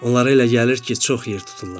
Onlara elə gəlir ki, çox yer tuturlar.